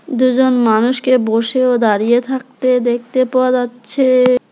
দুজন মানুষকে বসে ও দাঁড়িয়ে থাকতে দেখতে পাওয়া যাচ্ছে।